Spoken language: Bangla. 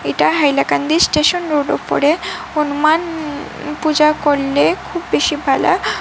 এটা হেইলাকান্দি স্টেশন রোড ওপরে হনুমান পূজা করলে খুব বেশি ভালো।